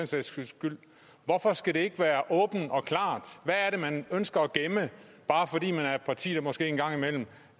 sags skyld hvorfor skal det ikke være åbent og klart hvad er det man ønsker at gemme bare fordi man er et parti der måske en gang imellem